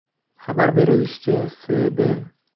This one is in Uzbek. Xabar berilishicha, S.B.